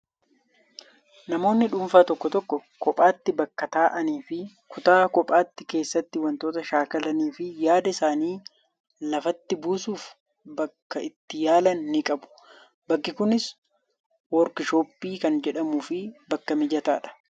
Namoonni dhuunfaa tokko tokko kophaatti bakka taa'anii fi kutaa kophaatti keessatti wantoota shaakalanii fi yaada isaanii lafatti buusuuf bakka itti yaalan ni qabu. Bakki kunis woorkshooppii kan jedhamuu fi bakka mijataadha.